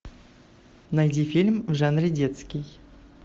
найди фильм в жанре детский